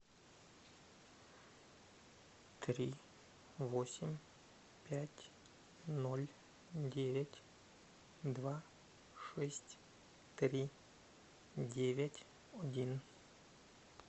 три восемь пять ноль девять два шесть три девять один